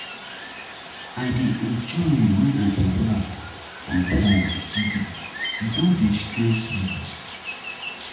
I dey enjoy wen I dey work dey work from home, e no dey stress me.